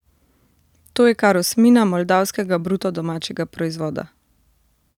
To je kar osmina moldavskega bruto domačega proizvoda.